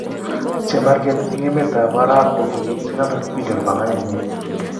Chemarget en emet ap arap ko ki it $600bn panganenyin.